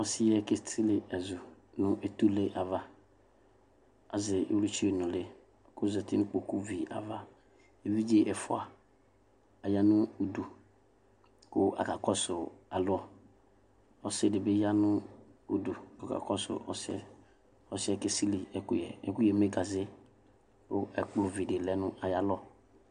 Ɔsiyɛ kesili ɛzu nʋ etule ava azɛ iwlitsu nʋli kʋ ozati nʋ ikpoku vi ava evidze ɛfʋa aya nʋ ʋdʋ kʋ aka kɔsʋ alɔ ɔsi dibi yanʋ ʋdʋ kʋ ɔkakɔsʋ ɔsi yɛ ɔsɩɛ kesili ɛkʋyɛ ɛkʋyɛ eme gaze kʋ ɛkplɔ vidi lɛ ayʋ alɔ